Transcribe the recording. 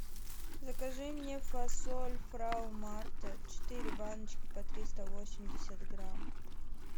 закажи мне фасоль фрау марта четыре баночки по триста восемьдесят грамм